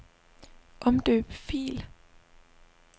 Omdøb fil.